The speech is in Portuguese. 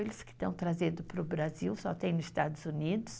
Eles que estão trazendo para o Brasil, só tem nos Estados Unidos.